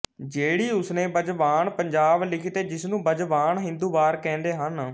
ਜਿਹੜੀ ਉਸਨੇ ਬਜਬਾਨਿ ਪੰਜਾਬ ਲਿਖੀ ਤੇ ਜਿਸਨੂੰ ਬਜਬਾਨਿ ਹਿੰਦ ਵਾਰ ਕਹਿੰਦੇ ਹਨ